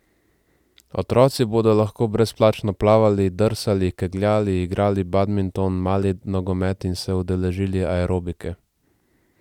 Otroci bodo lahko brezplačno plavali, drsali, kegljali, igrali badminton, mali nogomet in se udeležili aerobike.